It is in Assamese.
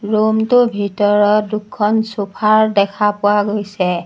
ৰূম টো ভিতৰত দুখন চুফাৰ দেখা পোৱা গৈছে।